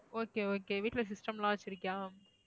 okay okay வீட்டுல system லாம் வச்சிருக்கயா?